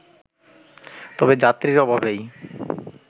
তবে যাত্রীর অভাবেই